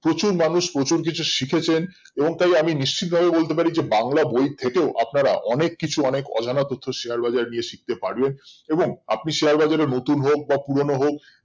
প্রচুর মানুষ প্রচুর কিছু শিখেছেন এবং তাই আমি নিশ্চিত ভাবে বলতে পারি যে বাংলা বই থেকেও আপনার অনেক কিছু অনেক অন্যান্য তথ্য share বাজার এ নিয়ে শিখতে পারেন এবং আপনি share বাজার এ নতুন হোক বা পুরোনো হোক